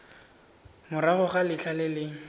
morago ga letlha le le